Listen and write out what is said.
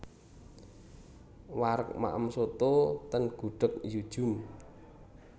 Wareg maem soto ten Gudeg Yu Djum